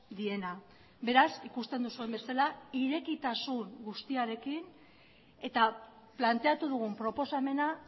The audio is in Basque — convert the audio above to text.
diena beraz ikusten duzuen bezala irekitasun guztiarekin eta planteatu dugun proposamena